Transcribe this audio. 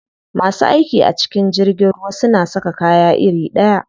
Masu aiki a cikin jirgin ruwa suna saka kaya iri ɗaya.